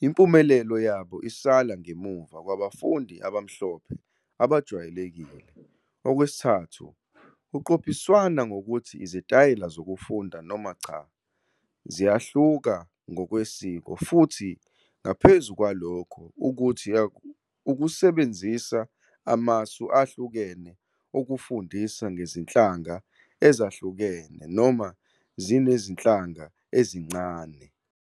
impumelelo yabo isala ngemuva kwabafundi abamhlophe abajwayelekile", - 3 Kuqophiswana ngokuthi izitayela zokufunda noma cha, ziyahluka ngokwesiko, futhi ngaphezu kwalokho, ukuthi ukusebenzisa amasu ahlukene okufundisa ngezinhlanga ezahlukene noma zinezinhlanga ezincane.